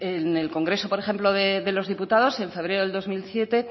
en el congreso por ejemplo de los diputados en febrero de dos mil siete